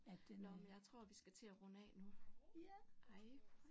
Nåh men jeg tror vi skal til at runde af nu. Hej